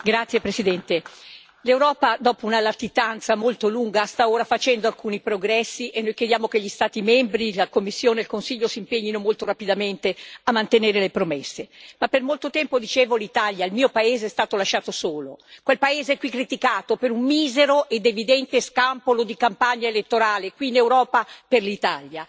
Signor Presidente, onorevoli colleghi, l'Europa, dopo una latitanza molto lunga, sta ora facendo alcuni progressi e noi chiediamo che gli Stati membri, la Commissione e il Consiglio si impegnino molto rapidamente a mantenere le promesse. Ma per molto tempo, dicevo, il mio paese, l'Italia, è stato lasciato solo, quel paese qui criticato per un misero ed evidente scampolo di campagna elettorale,